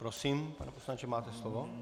Prosím, pane poslanče, máte slovo.